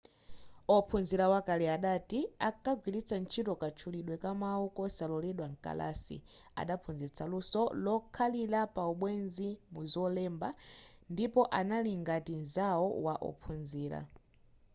ophunzira wakale adati ‘ankagwiritsa ntchito katchulidwe ka mawu kosaloledwa mkalasi adaphunzitsa luso lokhalira pa ubwenzi muzolemba ndipo anali ngati nzawo wa ophunzira.’